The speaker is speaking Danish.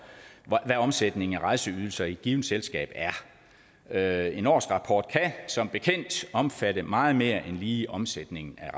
hvad omsætningen af rejseydelser i et givet selskab er en årsrapport kan som bekendt omfatte meget mere end lige omsætningen af